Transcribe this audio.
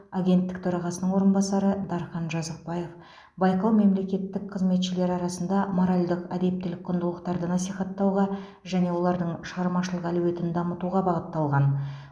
агенттік төрағасының орынбасары дархан жазықбаев байқау мемлекеттік қызметшілер арасында моральдық әдептілік құндылықтарды насихаттауға және олардың шығармашылық әлеуетін дамытуға бағытталған